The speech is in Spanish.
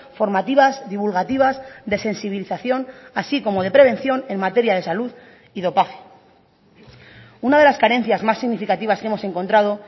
formativas divulgativas de sensibilización así como de prevención en materia de salud y dopaje una de las carencias más significativas que hemos encontrado